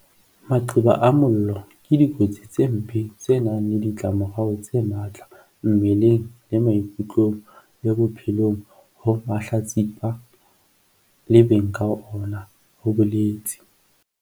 "Maqeba a mollo ke dikotsi tse mpe tse nang le ditlamorao tse matla mmeleng le maikutlong le bophelong ho mahlatsipa le beng ka ona," ho boletse